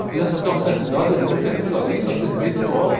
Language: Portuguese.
A criança até uma certa idade e ele pensa que aquilo ali está sendo feito agora.